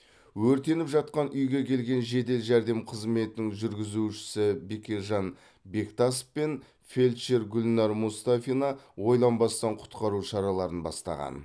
өртеніп жатқан үйге келген жедел жәрдем қызметінің жүргізушісі бекежан бектасов пен фельдшер гүлнар мұстафина ойланбастан құтқару шараларын бастаған